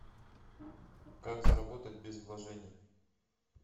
как заработать без вложений